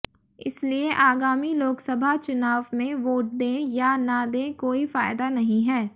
इसलिए आगामी लोकसभा चुनाव में वोट दे या न दे कोई फायदा नहीं है